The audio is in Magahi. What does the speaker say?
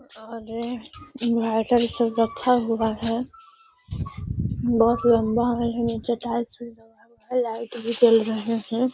और इन्वर्टर इ सब रखा हुआ है बहुत लम्बा में है निचे टाइल्स भी लगा हुआ है लाइट भी जल रहे हैं |